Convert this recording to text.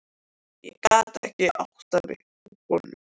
Ég gat ekki áttað mig á honum.